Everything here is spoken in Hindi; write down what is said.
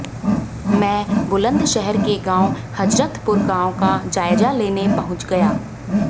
मैं बुलंदशहर के गांव हजरतपुर गांव का जायजा लेने पहुंच गया